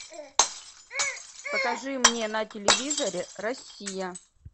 покажи мне на телевизоре россия